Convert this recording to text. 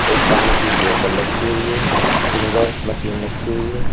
एक पानी की बोतल रखी हुई है फिंगर मशीन रखी हुई है।